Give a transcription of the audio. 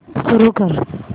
सुरू कर